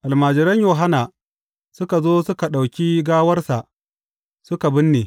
Almajiran Yohanna suka zo suka ɗauki gawarsa suka binne.